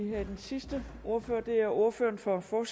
vi have den sidste ordfører og det er ordføreren for for